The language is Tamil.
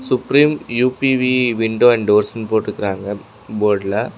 Supreme U P V window and doors னு போட்ருக்கறாங்க போர்டு ல.